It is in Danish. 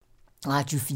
Radio 4